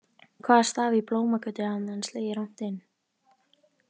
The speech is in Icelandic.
Hvaða staf í Blómagötu hafði hann slegið rangt inn?